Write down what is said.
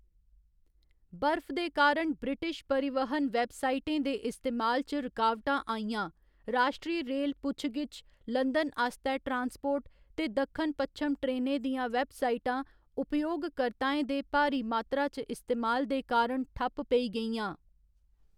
बर्फ दे कारण ब्रिटिश परिवहन वेबसाइटें दे इस्तेमाल च रकावटां आइयां, राश्ट्री रेल पुच्छ गिच्छ, लंदन आस्तै ट्रांसपोर्ट, ते दक्खन पश्चम ट्रेनें दियां वेबसाइटां उपयोगकर्ताएं दे भारी मात्तरा च इस्तेमाल दे कारण ठप्प पेई गेइयां।